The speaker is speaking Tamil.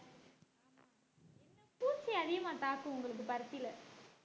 என்ன பூச்சி அதிகமா தாக்கும் உங்களுக்கு பருத்தில